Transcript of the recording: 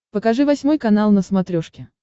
покажи восьмой канал на смотрешке